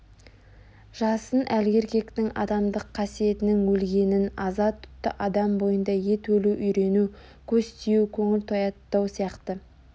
жасын әлгі еркектің адамдық қасиетінің өлгенін аза тұтты адам бойында ет өлу үйрену көз тию көңіл тояттау сияқты